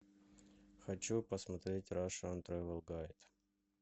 хочу посмотреть рашн тревел гайд